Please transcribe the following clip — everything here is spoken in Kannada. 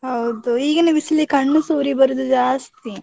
ಹೌದು ಈಗಿನ ಬಿಸಿಲಿಗೆ, ಕಣ್ಣುಸ ಉರಿ ಬರುದು ಜಾಸ್ತಿ.